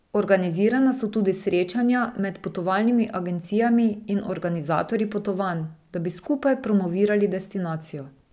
Organizirana so tudi srečanja med potovalnimi agencijami in organizatorji potovanj, da bi skupaj promovirali destinacijo.